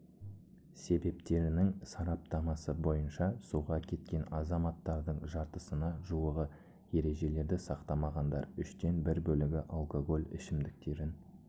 себептерінің сараптамасы бойынша суға кеткен азаматтардың жартысына жуығы ережелерді сақтамағандар үштен бір бөлігі алкоголь ішімдіктерін